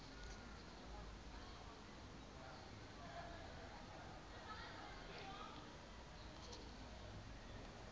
c le d ka ho